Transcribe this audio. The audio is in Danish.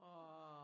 Nåh!